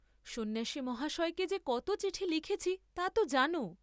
সন্ন্যাসী মহাশয়কে যে কত চিঠি লিখেছি তাতো জান?